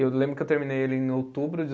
Eu lembro que eu terminei ele em outubro de